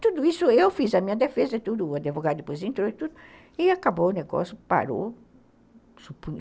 Tudo isso eu fiz, a minha defesa e tudo, o advogado depois entrou e tudo, e acabou o negócio, parou.